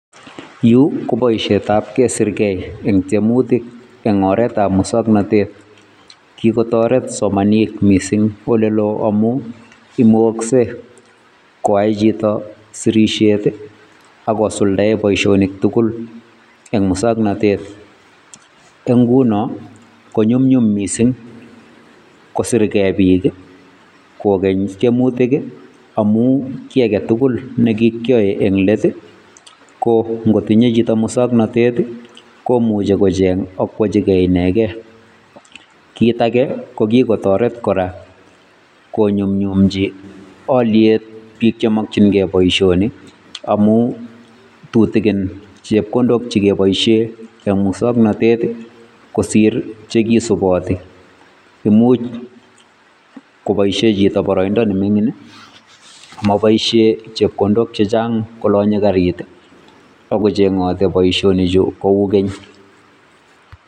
Yu ko boisiet ab kesirke eng tiemutik, eng oret ab muswongnotet, kikotoret somanik mising olelo amu imkokse koyay chito sirishet ii akosulda eee baisionik tugul eng muswongnotet, eng inguno ko nyumnyum mising kosirke bik ii kokeny tiemutik Ii amu kii ake tugul be kikyoe eng let ii, ko ngotinye chito muswongnotet komuche kocheng akwochike inekee, kit ake ko ki kotoreti kora konyumnyumchi alyet bik chemokyinke boisioni, amu tutikin chepkondok che keboisyen enn muswongnotet ii kosir che kisuboti, imuch koboisien chito baroindo nemingin ii amoboisie chepkondok chechang kolonye Karit Ii bo kochengote boisioni kou Keny.